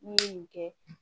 N'i ye nin kɛ